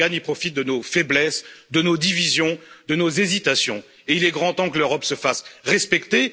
Erdogan profite de nos faiblesses, de nos divisions, de nos hésitations et il est grand temps que l'Europe se fasse respecter.